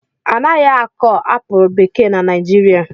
Anaghị akọ apụl bekee na Naijiria